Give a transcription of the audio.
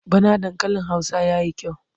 Bana dankalin Hausa ya yi kyau.